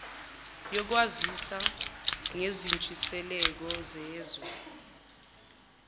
yokwazisa ngezintshisekelo zezwe